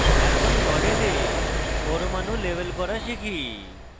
এখন model পরমাণু label করা শিখি